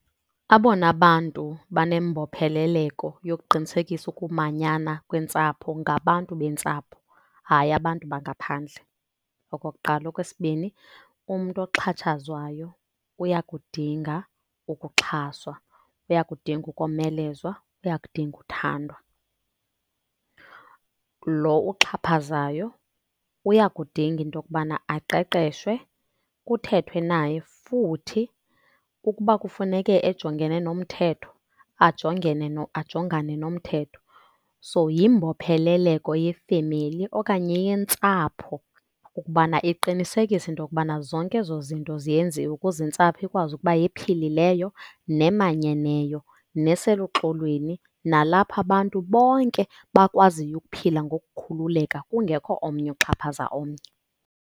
Abona bantu banembopheleleko yokuqinisekisa ukumanyana kweentsapho ngabantu beentsapho, hayi abantu bangaphandle, okokuqala. Okwesibini, umntu oxhatshazwayo uyakudinga ukuxhaswa, uyakudinga ukomelezwa uyakudinga uthandwa. Loo uxhaphazayo uyakudinga into yokubana aqeqeshwe, kuthethwe naye futhi ukuba kufuneke ejongene nomthetho ajongene ajongane nomthetho. So yimbopheleleko yefemeli okanye yentsapho ukubana iqinisekise into yokubna zonke ezo zinto ziyenziwa ukuze intsapho ikwazi ukuba yephilileyo, nemanyeneyo, neseluxolweni nalapha abantu bonke bakwaziyo ukuphila ngokukhululeka kungekho omnye oxhaphaza omnye.